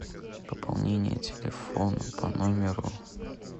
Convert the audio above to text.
пополнение телефона по номеру